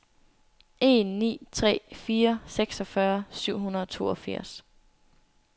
en ni tre fire seksogfyrre syv hundrede og toogfirs